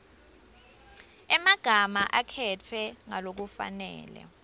emagama akhetfwe ngalokufanele